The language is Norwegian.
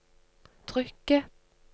trykket